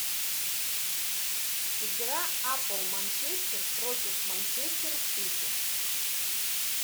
игра апл манчестер против манчестер сити